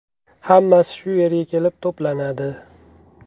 Hammasi shu yerga kelib to‘planadi.